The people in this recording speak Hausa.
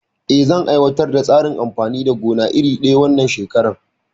Eh, zan aiwatar da tsarin amfanin gona iri daya a wannan shekarar?